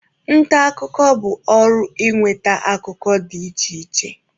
Nta akụkọ bụ ọrụ ịnweta akụkọ dị iche iche.